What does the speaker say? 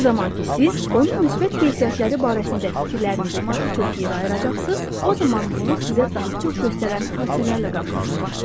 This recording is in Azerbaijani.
Nə zaman ki siz onun müsbət keyfiyyətləri barəsində fikirlərinizə daha çox yer ayıracaqsınız, o zaman bunu sizə daha çox göstərən hadisələrlə qarşılaşacaqsınız.